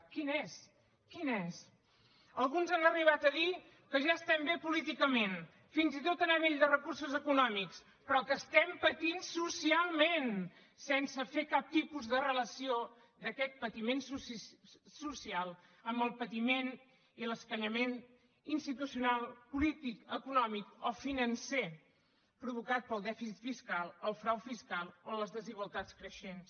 quin és quin és alguns han arribat a dir que ja estem bé políticament fins i tot a nivell de recursos econòmics però que estem patint socialment sense fer cap tipus de relació d’aquest patiment social amb el patiment i l’escanyament institucional polític econòmic o financer provocat pel dèficit fiscal el frau fiscal o les desigualtats creixents